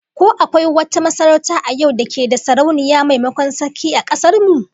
Ko akwai wata masarauta a yau da ke da Sarauniya maimakon Sarki, a kasar mu?